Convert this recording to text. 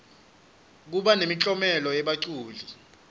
kuba nemiklomelo yebaculi